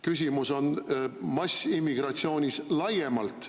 Küsimus on massiimmigratsioonis laiemalt.